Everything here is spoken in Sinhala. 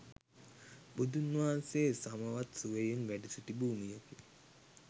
බුදුන් වහන්සේ සමවත් සුවයෙන් වැඩ සිටි භූමියකි.